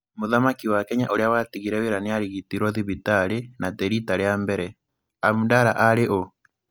Mũthamaki wa Kenya ũrĩa watigire wĩra nĩ arigitirwo thivitarĩ, na ti riita rĩa mbere. Abdallah aarĩ ũ?